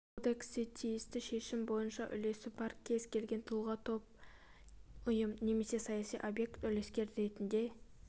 кодексте тиісті шешім бойынша үлесі бар кез келген тұлға топ ұйым немесе саяси объект үлескер ретінде